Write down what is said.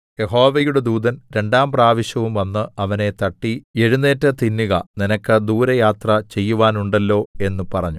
യഹോവയുടെ ദൂതൻ രണ്ടാം പ്രാവശ്യവും വന്ന് അവനെ തട്ടി എഴുന്നേറ്റ് തിന്നുക നിനക്ക് ദൂരയാത്ര ചെയ്‌വാനുണ്ടല്ലോ എന്ന് പറഞ്ഞു